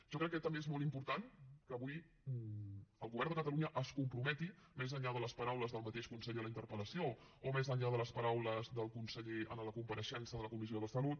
jo crec que també és molt important que avui el govern de catalunya es comprometi més enllà de les paraules del mateix conseller a la interpel·llà de les paraules del conseller en la compareixença de la comissió de salut